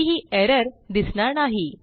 कोणतीही एरर दिसणार नाही